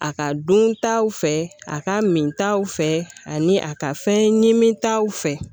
A ka dun taw fɛ a ka min taw fɛ ani a ka fɛn ɲimi taw fɛ